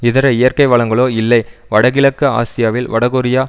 இதர இயற்கை வளங்களோ இல்லை வடகிழக்கு ஆசியாவில் வடகொரியா